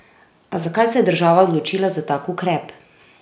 A zakaj se je država odločila za tak ukrep?